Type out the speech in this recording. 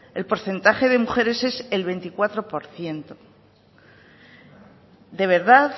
el porcentaje de mujeres es el veinticuatro por ciento de verdad